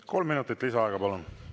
Kolm minutit lisaaega, palun!